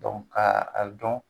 ka a dɔn.